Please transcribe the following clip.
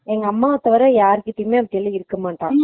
அவன் அம்மாவ தவிர யார்கிட்டயும் ரொம்ப நேரம் இருக்க மாட்டான்